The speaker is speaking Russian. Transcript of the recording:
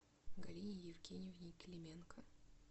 галине евгеньевне клименко